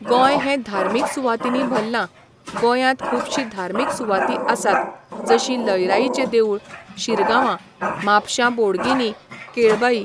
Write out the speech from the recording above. गोंय हें धार्मीक सुवातांनी भरलां. गोंयांत खुबशीं धार्मीक सुवाती आसात जशीं लयराईचें देवूळ, शिरगांवा, म्हापशां बोडगिनी, केळबाई